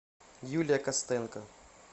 юлия костенко